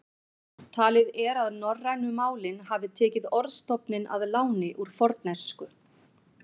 Talið er að norrænu málin hafi tekið orðstofninn að láni úr fornensku.